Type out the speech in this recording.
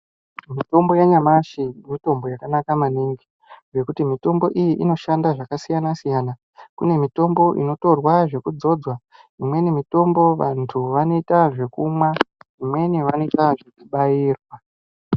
Mitombo yanyamashi mitombo yakanaka maningi ngekuti mitombo iyi inoshanda zvakasiyana siyana kune mitombo inotorwa zvekudzodzwa imweni mitombo vantu vanoita zvekumwa imweni vanoita zvekubairwa.